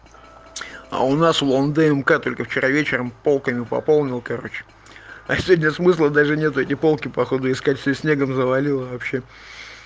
а у нас улан-удэ только вчера вечером полками пополнил короче а сегодня смысла даже нету эти полки походу искать всё снегом завалило вообще